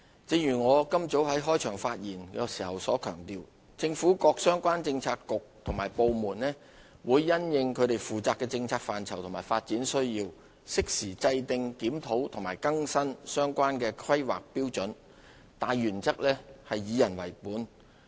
正如我今早在開場發言時強調，政府各相關政策局及部門會因應其負責的政策範疇及發展需要，適時制訂、檢討及更新相關的《香港規劃標準與準則》，大原則是"以人為本"。